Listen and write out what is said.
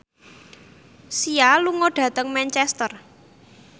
Sia lunga dhateng Manchester